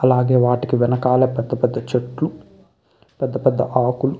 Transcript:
అలాగే వాటికి వెనకాల పెద్ద పెద్ద చెట్లు పెద్ద పెద్ద ఆకులు --